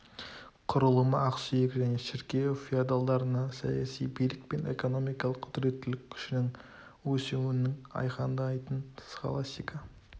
құрылымы ақсүйек және шіркеу феодалдарында саяси билік пен экономикалық құдіреттілік күшінің өсуін айқындайтын схаластика